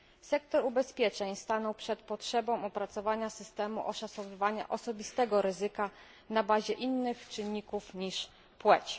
Sektor ubezpieczeń stanął przed potrzebą opracowania systemu oszacowywania osobistego ryzyka na bazie innych czynników niż płeć.